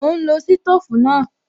Mò ún lo sítòfù náà